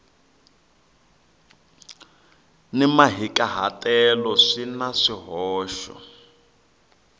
ni mahikahatelo swi na swihoxo